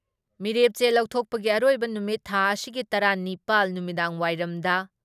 ꯃꯤꯔꯦꯞꯆꯦ ꯂꯧꯊꯣꯛꯄꯒꯤ ꯑꯔꯣꯏꯕ ꯅꯨꯃꯤꯠ ꯊꯥ ꯑꯁꯤꯒꯤ ꯇꯔꯥ ꯅꯤꯄꯥꯜ ꯅꯨꯃꯤꯗꯥꯡꯋꯥꯏꯔꯝꯗ